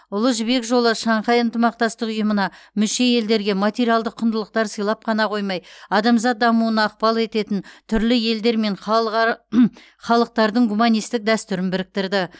ұлы жібек жолы шанхай ынтымақтастық ұйымына мүше елдерге материалдық құндылықтар сыйлап қана қоймай адамзат дамуына ықпал ететін түрлі елдер мен халықтардың гуманистік дәстүрін біріктірді